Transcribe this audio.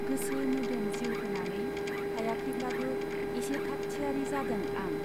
गोसो मोदोम जिउ होनानै हायाखैब्लाबो एसे थाकथियारी जादों आं।